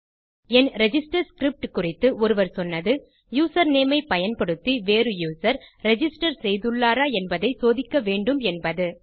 என் register script குறித்து ஒருவர் சொன்னது யூசர்நேம் ஐ பயன்படுத்தி வேறு யூசர் ரிஜிஸ்டர் செய்துள்ளாரா என்பதை சோதிக்க வேண்டும் என்பது